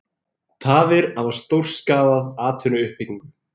Tafir hafa stórskaðað atvinnuuppbyggingu